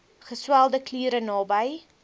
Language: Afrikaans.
geswelde kliere naby